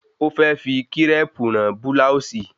Ó fẹ́ fi kírẹ̀pù rán búláòsì